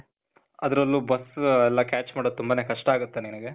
ಅದ್ರಲ್ಲೂ, bus, ಎಲ್ಲ catch ಮಾಡೋದು ತುಂಬಾನೇ ಕಷ್ಟ ಆಗತ್ತೆ ನಿನಿಗೆ.